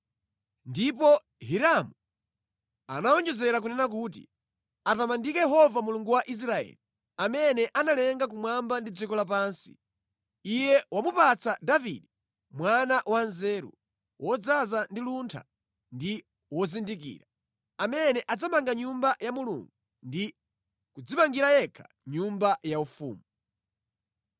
Ndipo Hiramu anawonjezera kunena kuti, “Atamandike Yehova Mulungu wa Israeli, amene analenga kumwamba ndi dziko lapansi! Iye wamupatsa Davide mwana wanzeru, wodzaza ndi luntha ndi wozindikira, amene adzamanga Nyumba ya Mulungu ndi kudzimangira yekha nyumba yaufumu.